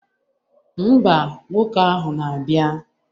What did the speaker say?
Ḿbà, nwoke ahụ na-abịa.